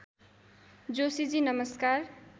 जोशीजी नमस्कार